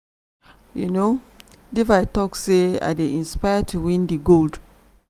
um devi tok say "i dey inspired to win di gold.